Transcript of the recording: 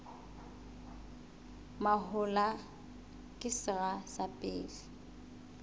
mahola ke sera sa pele